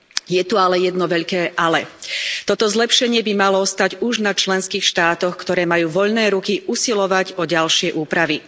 Je tu ale jedno veľké ale toto zlepšenie by malo ostať už na členských štátoch, ktoré majú voľné ruky usilovať o ďalšie úpravy.